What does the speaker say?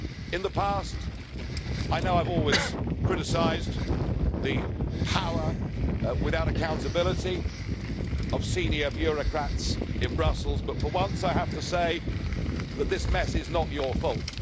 In the past, I know I've always criticised the power without accountability of senior bureaucrats in Brussels, but for once I have to say that this mess is not your fault.